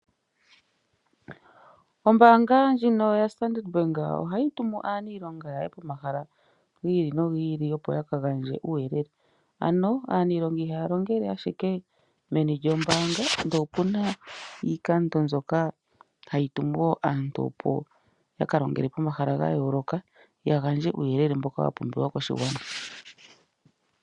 Ombaanga ndjino yo Standard Bank oha yi tumu aanilonga yawo yaye pomahala gi ili nogi ili opo yaka gandje omauyelele. Ano aaninlonga ihaya longele ashike meni lyo mbaanga, ndele opuna iikando mbyoka hayi tumu wo aantu opo yaka longele pomahala ga yooloka, ya gandje uuyelele mboka wa pumbiwa koshigwana.